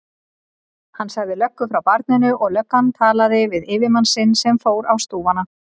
Hann sagði löggu frá barninu og löggan talaði við yfirmann sinn sem fór á stúfana.